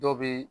Dɔw bɛ